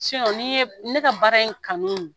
ni n ye ne ka baara in kanu